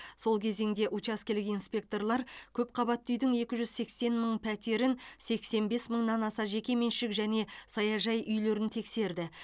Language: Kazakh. сол кезеңде учаскелік инспекторлар көпқабатты үйдің екі жүз сексен мың пәтерін сексен бес мыңнан аса жекеменшік және саяжай үйлерін тексерді